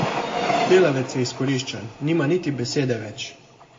Delavec je izkoriščan, nima niti besede več.